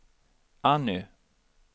Anny